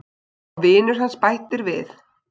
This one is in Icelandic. Og vinur hans bætir við